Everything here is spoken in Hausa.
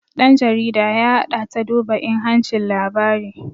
ɗan jarida ya haɗa ta duba inhancin labari